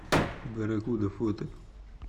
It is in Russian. барракуда фото